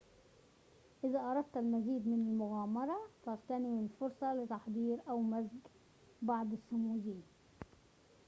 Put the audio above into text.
إذا أردت المزيد من المغامرة فاغتنم الفرصة لتحضير أو مزج بعض السموذي